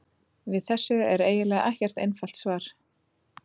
Við þessu er eiginlega ekkert einfalt svar.